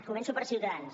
començo per ciutadans